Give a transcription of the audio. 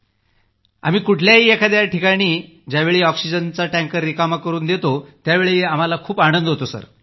आणि आम्ही कुठल्याही एखाद्या ठिकाणी ज्यावेळी ऑक्सिजनचा टँकर रिकामा करून देतो त्यावेळी आम्हाला खूप आनंद होतो